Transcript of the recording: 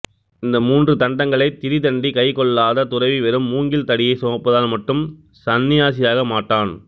இந்த மூன்று தண்டங்களைக் திரி தண்டி கைக் கொள்ளாத துறவி வெறும் மூங்கில் தடியைச் சுமப்பதால் மட்டும் சந்நியாசியாக மாட்டான்